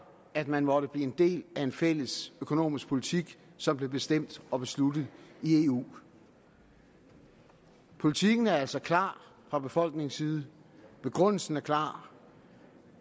at man måtte blive en del af en fælles økonomisk politik som bliver bestemt og besluttet i eu politikken er altså klar fra befolkningens side og begrundelsen er klar